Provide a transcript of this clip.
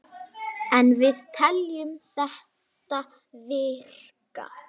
En við teljum þetta virka.